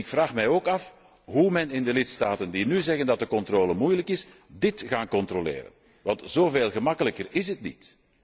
Ik vraag mij ook af hoe de lidstaten die nu zeggen dat de controle moeilijk is, dit gaan controleren, want zoveel gemakkelijker is het niet.